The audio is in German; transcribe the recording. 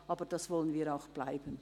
Aber das wollen wir auch bleiben.